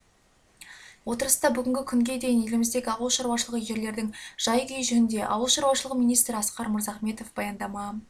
отырыста бүгінгі күнге дейін еліміздегі ауыл шаруашылығы жерлердің жай-күйі жөнінде ауыл шаруашылығы министрі асқар мырзахметов баяндама